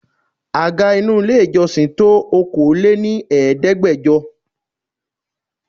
Àga inú ilé ìjọsìn tó Okòó lé ní Ẹ̀ẹ́dẹ́gbẹjọ.